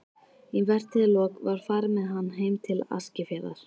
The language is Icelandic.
Í vertíðarlok var farið með hann heim til Eskifjarðar.